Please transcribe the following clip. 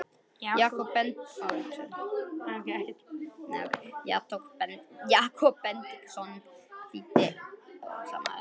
Jakob Benediktsson þýddi og samdi inngang og skýringar.